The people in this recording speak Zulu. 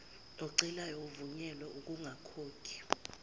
ocelayo evunyelwa ukungakhokhi